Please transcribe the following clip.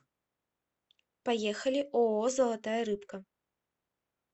поехали ооо золотая рыбка